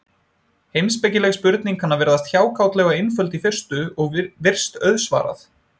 Heimspekileg spurning kann að virðast hjákátleg og einföld í fyrstu, og virst auðsvarað.